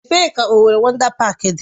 Ebee ka Owerri Wọndá Páák dị?